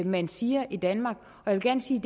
man siger i danmark jeg vil gerne sige